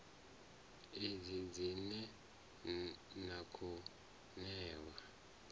idzi dzine na khou ṋewa